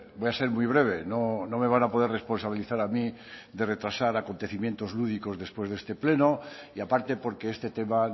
voy a ser muy breve no me van a poder responsabilizar a mí de retrasar acontecimientos lúdicos después de este pleno y aparte porque este tema